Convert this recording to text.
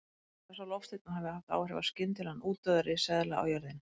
Talið er að sá loftsteinn hafi haft áhrif á skyndilegan útdauða risaeðla á jörðinni.